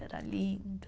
Era lindo.